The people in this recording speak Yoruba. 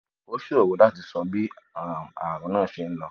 o ṣòro láti sọ bí um àrùn náà ṣe ń lọ